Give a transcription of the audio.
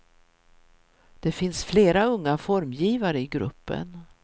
Det finns flera unga formgivare i gruppen.